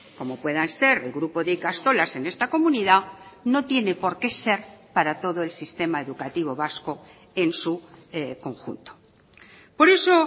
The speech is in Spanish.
como puedan ser el grupo de ikastolas en esta comunidad no tiene por qué ser para todo el sistema educativo vasco en su conjunto por eso